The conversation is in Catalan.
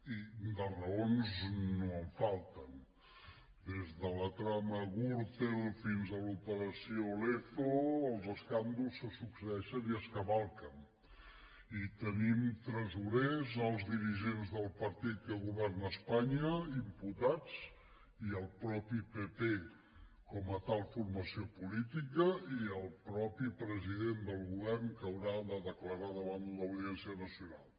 i de raons no en falten des de la trama gürtel fins a l’operació lezo els escàndols se succeeixen i es cavalquen i tenim tresorers alts dirigents del partit que governa espanya imputats i el mateix pp com a tal formació política i el mateix president del govern que haurà de declarar davant l’audiència nacional